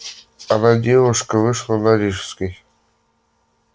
одна девушка вышла на рижской